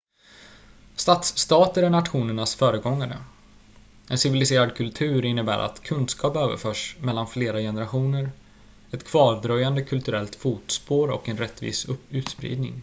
stadsstater är nationernas föregångare en civiliserad kultur innebär att kunskap överförs mellan flera generationer ett kvardröjande kulturellt fotspår och en rättvis utspridning